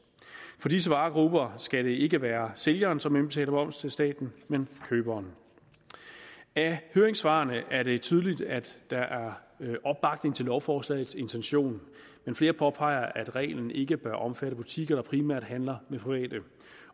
for disse varegrupper skal det ikke være sælgeren som indbetaler moms til staten men køberen af høringssvarene er det tydeligt at der er opbakning til lovforslagets intention men flere påpeger at reglen ikke bør omfatte butikker der primært handler med private